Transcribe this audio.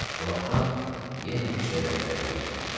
O vaxtdan yenə işə rəhbərlik eləyirəm.